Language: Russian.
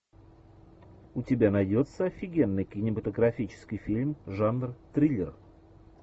у тебя найдется офигенный кинематографический фильм жанр триллер